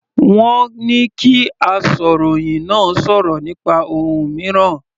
Wọ́n ní kí asọ̀rọ̀hìn náà sọ̀rọ̀ nípa ohun mìíràn.